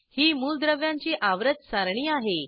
ही मूलद्रव्यांची आवर्त सारणी आहे